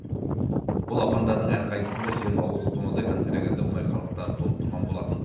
бұл апандардың әрқайсысында жиырма отыз тоннадай концерогенді мұнай қалдықтары толып тұрған болатын